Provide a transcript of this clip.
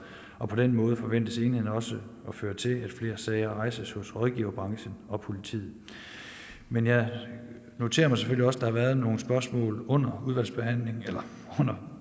og på den måde forventes enheden også at føre til at flere sager rejses hos rådgiverbranchen og politiet men jeg noterer mig selvfølgelig også at der har været nogle spørgsmål under behandlingen her